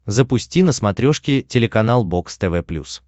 запусти на смотрешке телеканал бокс тв плюс